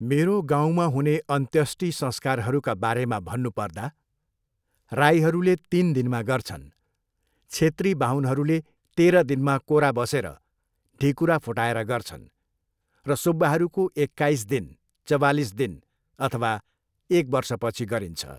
मेरो गाउँमा हुने अन्त्यष्टि संस्कारहरूका बारेमा भन्नु पर्दा, राईहरूले तिन दिनमा गर्छन्, छेत्री बाहुनहरूले तेह्र दिनमा कोरा बसेर ढिकुरा फुटाएर गर्छन् र सुब्बाहरूको एकाइस दिन, चवालिस दिन, अथवा एक वर्षपछि गरिन्छ।